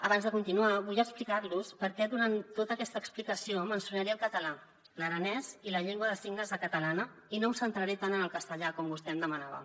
abans de continuar vull explicar los per què durant tota aquesta explicació mencionaré el català l’aranès i la llengua de signes catalana i no em centraré tant en el castellà com vostè em demanava